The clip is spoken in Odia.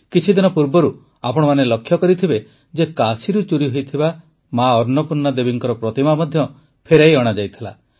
କିଛିଦିନ ପୂର୍ବରୁ ଆପଣମାନେ ଲକ୍ଷ୍ୟ କରିଥିବେ ଯେ କାଶୀରୁ ଚୋରିହୋଇଥିବା ମା ଅନ୍ନପୂର୍ଣ୍ଣା ଦେବୀଙ୍କ ପ୍ରତିମା ମଧ୍ୟ ଫେରାଇ ଅଣାଯାଇଥିଲା